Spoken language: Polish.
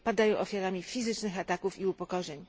Padają ofiarami fizycznych ataków i upokorzeń.